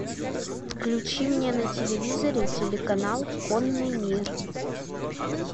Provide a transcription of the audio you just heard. включи мне на телевизоре телеканал конный мир